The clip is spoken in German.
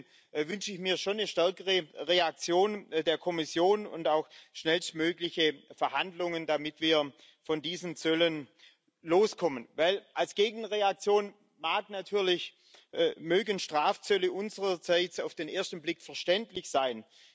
Deswegen wünsche ich mir schon eine stärkere Reaktion der Kommission und auch schnellstmögliche Verhandlungen, damit wir von diesen Zöllen loskommen. Als Gegenreaktion mögen Strafzölle unsererseits auf den ersten Blick verständlich sein.